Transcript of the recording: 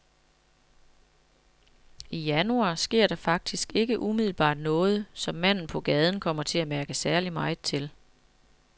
I januar sker der faktisk ikke umiddelbart noget, som manden på gaden kommer til at mærke særlig meget til.